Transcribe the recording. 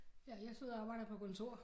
Ja jeg sidder og arbejder på kontor